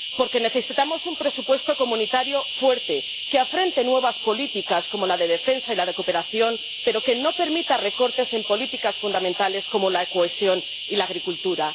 Porque necesitamos un presupuesto de la Unión fuerte, que afronte nuevas políticas como la de defensa y la de cooperación, pero que no permita recortes en políticas fundamentales, como la cohesión y la agricultura.